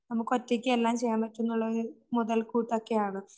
നമുക്കൊറ്റയ്ക്കേ എല്ലാം ചെയ്യാൻ പറ്റൂനുള്ളൊരു മുതൽക്കൂട്ടോക്കെയാണ്.